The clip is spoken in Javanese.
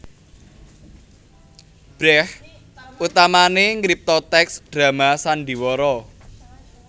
Brecht utamané ngripta tèks drama sandiwara